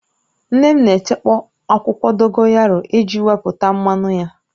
Nne m na echekpọ̀ akwụkwọ dogoyaru eji wepụta mmanụ ya